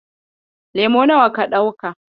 Lemo nawa ka ɗauka?